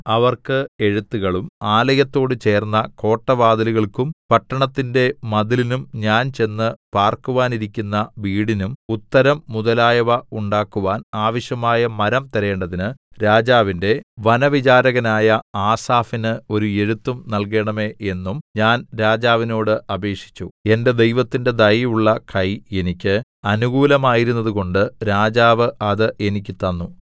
അവർക്ക് എഴുത്തുകളും ആലയത്തോട് ചേർന്ന കോട്ടവാതിലുകൾക്കും പട്ടണത്തിന്റെ മതിലിനും ഞാൻ ചെന്ന് പാർക്കുവാനിരിക്കുന്ന വീടിനും ഉത്തരം മുതലായവ ഉണ്ടാക്കുവാൻ ആവശ്യമായ മരം തരേണ്ടതിന് രാജാവിന്റെ വനവിചാരകനായ ആസാഫിന് ഒരു എഴുത്തും നല്കേണമേ എന്നും ഞാൻ രാജാവിനോട് അപേക്ഷിച്ചു എന്റെ ദൈവത്തിന്റെ ദയയുള്ള കൈ എനിക്ക് അനുകൂലമായിരുന്നതുകൊണ്ട് രാജാവ് അത് എനിക്ക് തന്നു